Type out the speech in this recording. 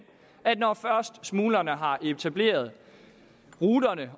at når først smuglerne har etableret ruterne